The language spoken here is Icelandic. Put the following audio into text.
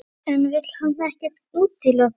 En vill hann ekkert útiloka?